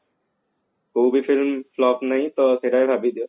କୋଉ ବି film flop ନାହିଁ ତ ସେଟା ବି ଭାବି ଦିଅ